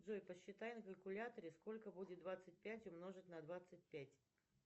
джой посчитай на калькуляторе сколько будет двадцать пять умножить на двадцать пять